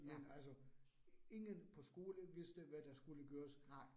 Men altså ingen på skole vidste, hvad der skulle gøres